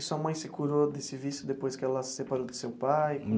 E sua mãe se curou desse vício depois que ela se separou do seu pai?